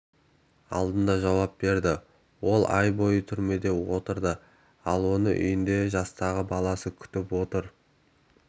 алдында жауап берді ол ай бойы түрмеде отырды ал оны үйінде жастағы баласы күтіп отыр